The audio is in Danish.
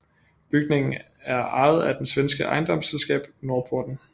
Bygningen er ejet af det svenske ejendomsselskab Norrporten